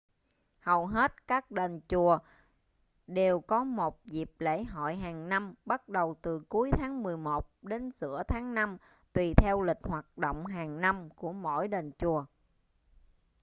hầu hết các đền chùa đều có một dịp lễ hội hàng năm bắt đầu từ cuối tháng mười một đến giữa tháng năm tùy theo lịch hoạt động hàng năm của mỗi đền chùa